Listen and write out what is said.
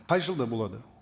қай жылда болады